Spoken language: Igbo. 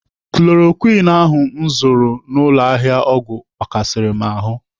Chloroquine ahụ m zụrụ n'ụlọ ahịa ọgwụ gbakasịrị m ahụ.